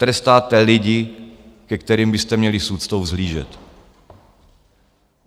Trestáte lidi, ke kterým byste měli s úctou vzhlížet.